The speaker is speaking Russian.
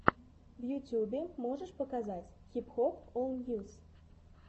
в ютьюбе можешь показать хип хоп ол ньюс